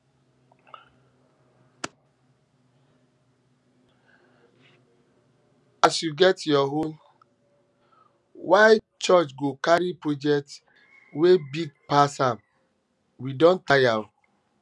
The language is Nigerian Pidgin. why church go carry project project um wey big pass am we don tire o